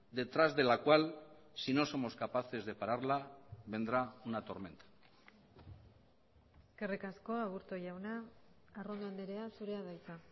detrás de la cual si no somos capaces de pararla vendrá una tormenta eskerrik asko aburto jauna arrondo andrea zurea da hitza